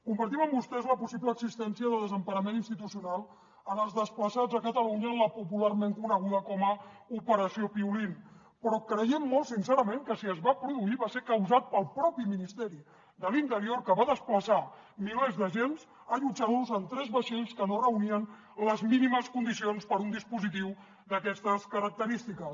compartim amb vostès la possible existència de desemparament institucional en els desplaçats a catalunya en la popularment coneguda com a operació piolín però creiem molt sincerament que si es va produir va ser causat pel propi ministeri de l’interior que va desplaçar milers d’agents allotjant los en tres vaixells que no reunien les mínimes condicions per a un dispositiu d’aquestes característiques